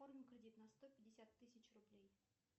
оформи кредит на сто пятьдесят тысяч рублей